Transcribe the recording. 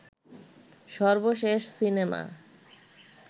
সর্বশেষ সিনেমা